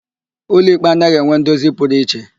Ụlọikpe anaghị enwe ndozi pụrụ iche.